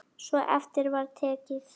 Svo eftir var tekið.